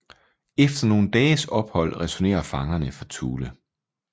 Efter nogle dages ophold returnerer fangerne fra Thule